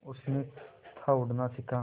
उसने था उड़ना सिखा